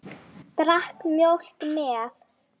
Drakk mjólk með.